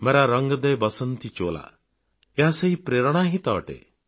ମେରା ରଙ୍ଗଦେ ବସନ୍ତି ଚୋଲା ଏହା ସେହି ପ୍ରେରଣା ହିଁ ତ ଅଟେ